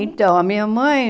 Então, a minha mãe...